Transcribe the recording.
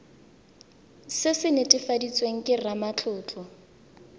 se se netefaditsweng ke ramatlotlo